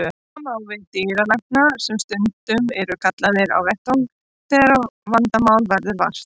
Sama á við um dýralækna sem stundum eru kallaðir á vettvang þegar vandamála verður vart.